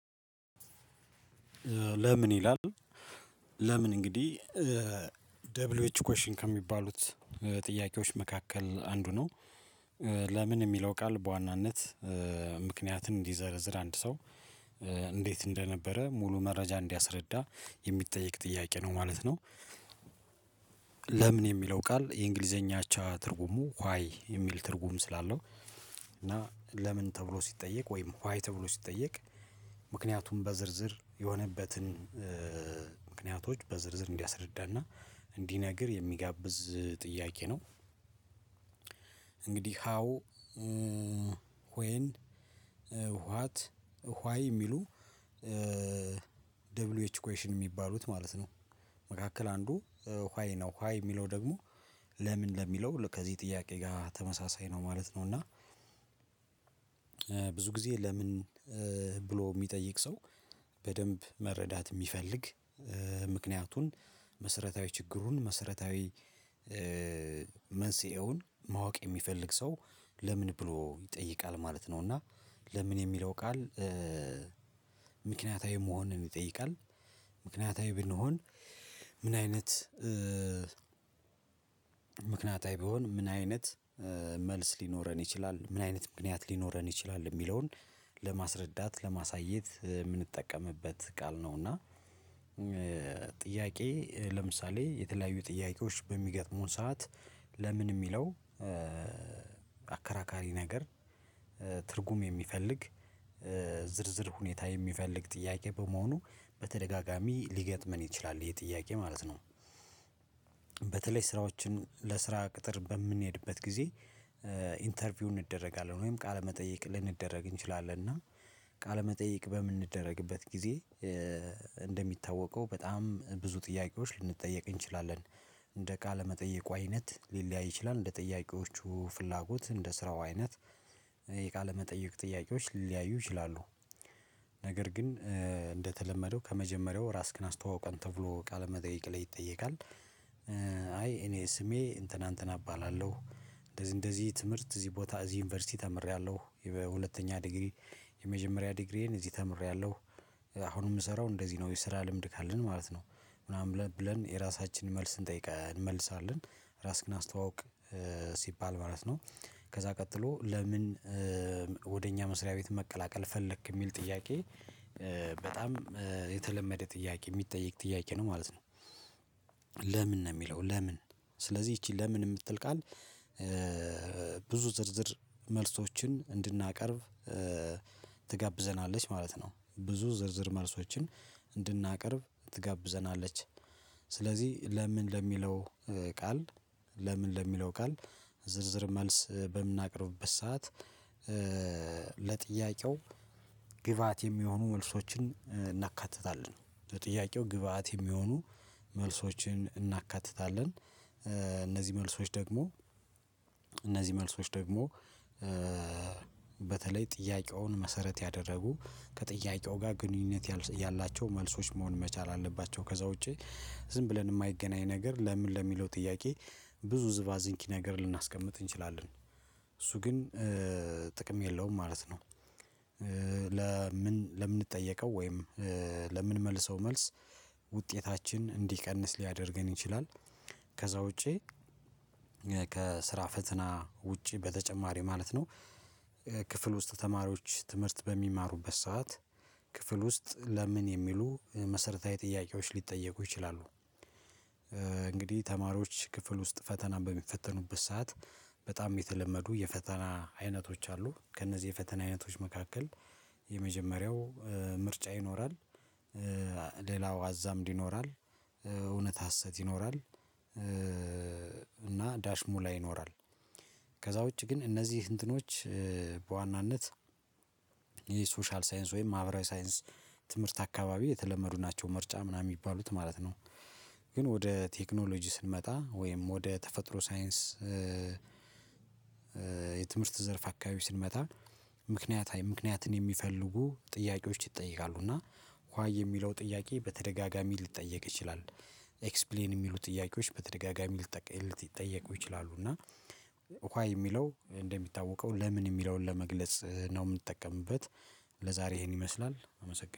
ለምን ይላል ለምን እንግዲህ ደብልዌዩ ኤች ኩዌሽን ከሚባሉት ጥያቄዎች መካከል አንዱ ነው ለምን የሚለው ቃል በዋናነት ምክንያት እንዲዘረዝር አንድ ሰው እንዴት እንደነበረ ሙሉ መረጃ እንዲያስረዳ የሚጠይቅ ጥያቄ ነው ማለት ነው። ለምን የሚለው ቃል የእንግሊዘኛ አቻ ትርጉሙ ዋይ የሚል ትርጉም ስላለው እና ለምን ተብሎ ሲጠየቅ ወይም ዋይ ተብሎ ሲጠየቅ ምክንያቱም በዝርዝር የሆነበትን በዝርዝር እንዲያስረዳና እንዲነግር የሚጋብዝ ጥያቄ ነው። እንግዲህ ሃው ዋት ዋይ የሚሉ ደብሊ ዩ ኤች ኩዌሽን የሚባሉት ማለት ነው። መካከል አንዱ ዋይ ነው ዋይ የሚለው ደግሞ ለምን ለሚለው ከዚህ ጥያቄ ጋር ተመሳሳይ ነው ማለት ነው። እና ብዙ ጊዜ ለምን ብሎ የሚጠይቅ ሰው በደንብ መረዳት የሚፈልግ ምክንያቱን መሰረታዊ ችግሩን መሰረታዊ መንስኤውን ማወቅ የሚፈልግ ሰው ለምን ብሎ ይጠይቃል ማለት ነው። እና ለምን የሚለው ቃል ምክንያታዊ መሆንን ይጠይቃል ምክንያታዊ ብንሆን ምን አይነት ምክንያታዊ ቢሆን ምን አይነት መልስ ሊኖረን ይችላል ምን አይነት ምክንያት ሊኖረን ይችላል የሚለውን ለማስረዳት ለማሳየት የምንጠቀምበት ቃል ነው። እና ጥያቄ ለምሳሌ የተለያዩ ጥያቄዎች በሚገጥሙን ሰዓት ለምን የሚለው አከራካሪ ነገር ትርጉም የሚፈልግ ዝርዝር ሁኔታ የሚፈልግ ጥያቄ በመሆኑ በተደጋጋሚ ሊገጥመን ይችላል ይሄ ጥያቄ ማለት ነው። በተለይ ስራዎችን ለስራ ቅጥር በምንሄድበት ጊዜ ኢንተርቪው እንደረጋለን ወይም ቃለመጠየቅ ልንደረግ እንችላለን እና ቃለመጠይቅ በምንደረግበት ጊዜ እንደሚታወቀው በጣም ብዙ ጥያቄዎች ልንጠየቅ እንችላለን እንደ ቃለመጠየቁ አይነት ሊለያይ ይችላል እንደ ጥያቄዎቹ ፍላጎት እንደ ስራው አይነት የቃለ መጠየቅ ጥያቄዎች ሊያዩ ይችላሉ። ነገር ግን እንደተለመደው ከመጀመሪያው ራስክን አስተዋውቀን ተብሎ ቃለመጠይቅ ላይ ይጠየቃል። አይ እኔ ስሜ እንትና እንትና እባላለሁ እንደዚህ እንደዚህ ትምህርት እዚህ ቦታ እዚህ ዩኒቨርሲቲ ተምሬያለሁ በሁለተኛ ዲግሪ የመጀመሪያ ዲግሪዬን እዚህ ተምሬያለሁ አሁን የምሰራው እንደዚህ ነው የስራ ልምድ ካለን ማለት ነው ምናምን ብለን የራሳችንን መልስ እንጠይቀን እንመልሳለን ራስክን አስተዋውቅ ሲባል ማለት ነው። ከዛ ቀጥሎ ለምን ወደ እኛ መስሪያ ቤት መቀላቀል ፈለክ የሚል ጥያቄ በጣም የተለመደ ጥያቄ የሚጠየቅ ጥያቄ ነው ማለት ነው። ለምን ነው የሚለው ለምን ስለዚህ ይቺ ለምን የምትል ቃል ብዙ ዝርዝር መልሶችን እንድናቀርብ ትጋብዘናለች ማለት ነው። ብዙ ዝርዝር መልሶችን እንድናቀርብ ትጋብዘናለች ስለዚህ ለምን ለሚለው ቃል ለምን ለሚለው ቃል ዝርዝር መልስ በምናቀርብበት ሰዓት ለጥያቄው ግብአት የሚሆኑ መልሶችን እናካትታለን ለጥያቄው ግብአት የሚሆኑ መልሶችን እናካትታለን እነዚህ መልሶች ደግሞ እነዚህ መልሶች ደግሞ በተለይ ጥያቄውን መሰረት ያደረጉ ከጥያቄው ጋር ግንኙነት ያላቸው መልሶች መሆን መቻል አለባቸው። ከዛ ውጪ ዝም ብለን የማይገናኝ ነገር ለምን ለሚለው ጥያቄ ብዙ ዝባዚንኪ ነገር ልናስቀምጥ እንችላለን እሱ ግን ጥቅም የለውም ማለት ነው። ለምን ለምንጠየቀው ወይም ለምንመልሰው መልስ ውጤታችን እንዲቀንስ ሊያደርገን ይችላል ከዛ ውጪ ከስራ ፈተና ውጪ በተጨማሪ ማለት ነው። ክፍል ውስጥ ተማሪዎች ትምህርት በሚማሩበት ሰዓት ክፍል ውስጥ ለምን የሚሉ መሰረታዊ ጥያቄዎች ሊጠየቁ ይችላሉ። እንግዲህ ተማሪዎች ክፍል ውስጥ ፈተናን በሚፈተኑበት ሰዓት በጣም የተለመዱ የፈተና አይነቶች አሉ ከእነዚህ የፈተና አይነቶች መካከል የመጀመሪያው ምርጫ ይኖራል ሌላው አዛምድ ይኖራል እውነት ሀሰት ይኖራል እና ዳሽ ሙላ ይኖራል ከዛ ውጪ ግን እነዚህ እንትኖች በዋናነት የሶሻል ሳይንስ ወይም ማህበራዊ ሳይንስ ትምህርት አካባቢ የተለመዱ ናቸው ምርጫ ምናምን የሚባሉት ማለት ነው። ግን ወደ ቴክኖሎጂ ስንመጣ ወይም ወደ ተፈጥሮ ሳይንስ የትምህርት ዘርፍ አካባቢ ስንመጣ ምክንያታዊ ምክንያት የሚፈልጉ ጥያቄዎች ይጠይቃሉ እና ዋይ የሚለው ጥያቄ በተደጋጋሚ ልትጠየቅ ይችላል ኤክስፕሌን የሚሉ ጥያቄዎች በተደጋጋሚ ልትጠየቁ ይችላሉ። እና ዋይ የሚለው እንደሚታወቀው ለምን የሚለውን ለመግለጽ ነው የምትጠቀምበት ለዛሬ ይሄን ይመስላል። አመሰግናለሁ